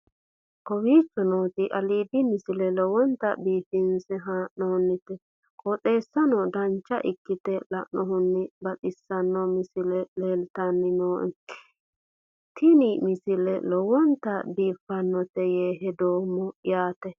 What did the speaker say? kowicho nooti aliidi misile lowonta biifinse haa'noonniti qooxeessano dancha ikkite la'annohano baxissanno misile leeltanni nooe ini misile lowonta biifffinnote yee hedeemmo yaate